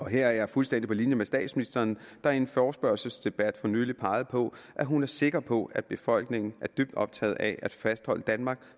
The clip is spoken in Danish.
her er jeg fuldstændig på linje med statsministeren der i en forespørgselsdebat for nylig pegede på at hun er sikker på at befolkningen er dybt optaget af at fastholde danmark